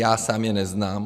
Já sám je neznám.